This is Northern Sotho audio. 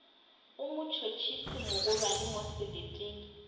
go motšhotšhisi mogolwane mo seleteng